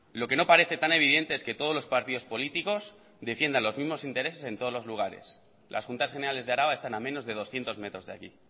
lo que no parece tan evidente es que todos los partidos políticos defiendan los mismos intereses en todos los lugares las juntas generales de araba están a menos de doscientos metros de aquí